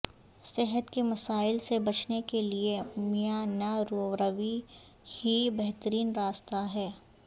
صحت کے مسائل سے بچنے کے لیے میانہ روی ہی بہترین راستہ ہے